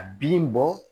A bin bɔ